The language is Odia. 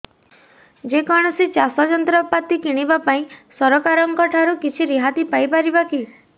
ଯେ କୌଣସି ଚାଷ ଯନ୍ତ୍ରପାତି କିଣିବା ପାଇଁ ସରକାରଙ୍କ ଠାରୁ କିଛି ରିହାତି ପାଇ ପାରିବା କି